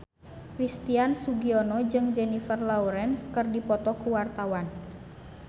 Christian Sugiono jeung Jennifer Lawrence keur dipoto ku wartawan